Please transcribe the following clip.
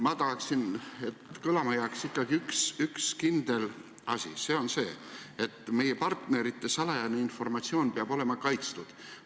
Ma tahaksin, et kõlama jääks ikkagi üks kindel asi – see, et meie partnerite salajane informatsioon peab olema kaitstud.